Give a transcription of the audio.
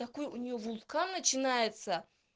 такой у неё вулкан начинается